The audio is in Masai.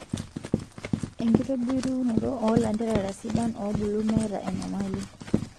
Enkitobirunoto oo lanterera sidan oobulu meeta enyamali.